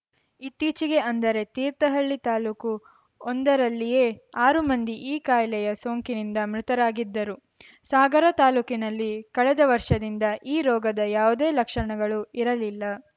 ಇತ್ತೀಚೆಗೆ ಅಂದರೆ ತೀರ್ಥಹಳ್ಳಿ ತಾಲೂಕು ಒಂದರಲ್ಲಿಯೇ ಆರು ಮಂದಿ ಈ ಕಾಯಿಲೆಯ ಸೋಂಕಿನಿಂದ ಮೃತರಾಗಿದ್ದರು ಸಾಗರ ತಾಲೂಕಿನಲ್ಲಿ ಕಳೆದ ವರ್ಷದಿಂದ ಈ ರೋಗದ ಯಾವುದೇ ಲಕ್ಷಣಗಳು ಇರಲಿಲ್ಲ